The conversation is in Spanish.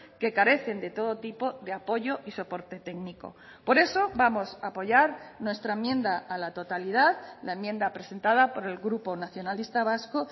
que carecen de todo tipo de apoyo y soporte técnico por eso vamos a apoyar nuestra enmienda a la totalidad la enmienda presentada por el grupo nacionalista vasco